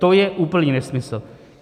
To je úplný nesmysl.